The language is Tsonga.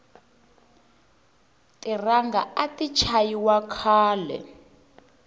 tiranga ati chayi wa khale